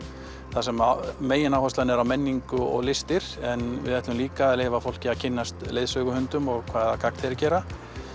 þar sem megináherslan er á menningu og listir en við ætlum líka að leyfa fólki að kynnast leiðsöguhundum og hvaða gagn þeir gera